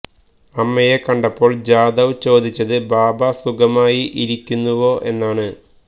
അമ്മയെ കണ്ടപ്പോള് ജാദവ് ചോദിച്ചത് ബാബ സുഖമായി ഇരിക്കുന്നുവോ എന്നാണ്